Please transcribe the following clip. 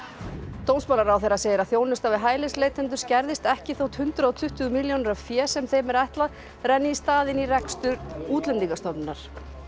dómsmálaráðherra segir að þjónusta við hælisleitendur skerðist ekki þótt hundrað og tuttugu milljónir af fé sem þeim er ætlað renni í staðinn í rekstur Útlendingastofnunar